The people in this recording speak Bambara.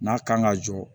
N'a kan ka jɔ